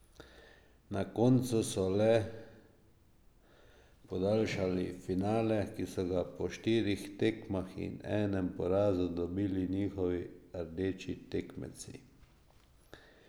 Na koncu so le podaljšali finale, ki so ga po štirih tekmah in enem porazu dobili njihovi rdeči tekmeci.